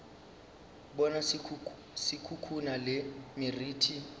bona se khukhuna le meriti